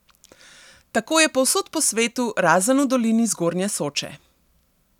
Tako je povsod po svetu, razen v dolini zgornje Soče.